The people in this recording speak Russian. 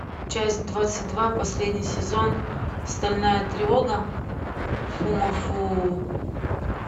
часть двадцать два последний сезон стальная тревога фумафу